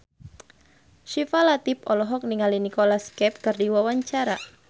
Syifa Latief olohok ningali Nicholas Cafe keur diwawancara